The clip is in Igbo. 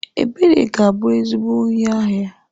Ebere ga-abu ezigbo onye ahia.